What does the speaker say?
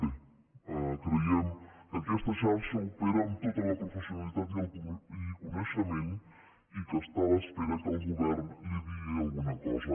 bé creiem que aquesta xarxa opera amb tota la professionalitat i coneixement i que està a l’espera que el govern li digui alguna cosa